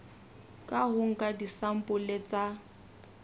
ka ho nka disampole tsa